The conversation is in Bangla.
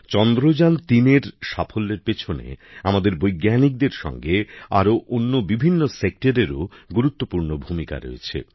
চন্দ্রযানতিন এর সাফল্যের পেছনে আমাদের বৈজ্ঞানিকদের সঙ্গে আরো অন্য বিভিন্ন ক্ষেত্রেও গুরুত্বপূর্ণ ভূমিকা রয়েছে